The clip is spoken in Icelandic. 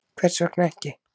Hvers vegna ekki?